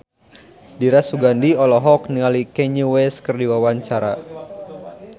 Dira Sugandi olohok ningali Kanye West keur diwawancara